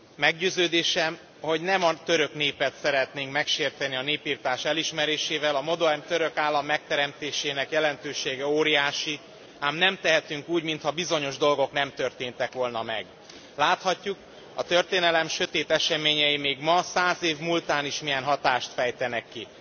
Meggyőződésem, hogy nem a török népet szeretnénk megsérteni a népirtás elismerésével, a modern török állam megteremtésének jelentősége óriási, ám nem tehetünk úgy, mintha bizonyos dolgok nem történtek volna meg. Láthatjuk, a történelem sötét eseményei még ma, száz év múltán is milyen hatást fejtenek ki.